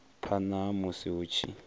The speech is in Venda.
phana ha musi hu tshi